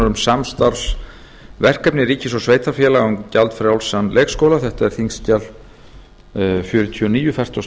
um samstarfsverkefni ríkis og sveitarfélaga um gjaldfrjálsan leikskóla þetta er þingskjal númer fjörutíu og níu fertugasta og